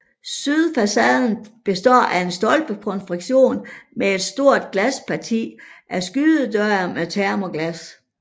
Sydfacaden består af en stolpekonstruktion med et stort glasparti af skydedøre med termoglas